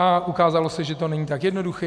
A ukázalo se, že to není tak jednoduché.